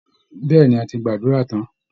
Bẹ́ẹ̀ ni, a ti gbàdúrà tán